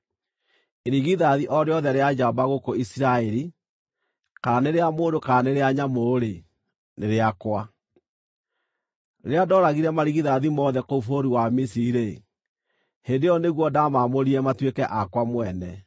Irigithathi o rĩothe rĩa njamba gũkũ Isiraeli, kana nĩ rĩa mũndũ kana nĩ rĩa nyamũ-rĩ, nĩ rĩakwa. Rĩrĩa ndooragire marigithathi mothe kũu bũrũri wa Misiri-rĩ, hĩndĩ ĩyo nĩguo ndaamaamũrire matuĩke akwa mwene.